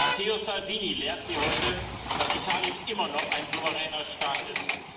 Matteo Salvini lehrt Sie heute, dass Italien immer noch ein souveräner Staat ist.